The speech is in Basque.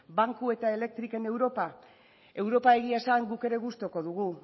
banku eta elektrikoen europa europa egia esan guk ere gustuko dugu